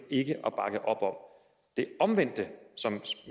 ikke at bakke op om det omvendte som